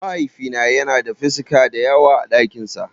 Mahaifina yana da 'ficika' dayawa a ɗakin sa.